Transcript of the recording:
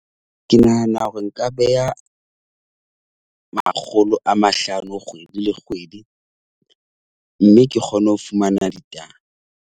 Ke nahana hore nka beha makgolo a mahlano kgwedi le kgwedi. Mme ke kgone ho fumana ditaba.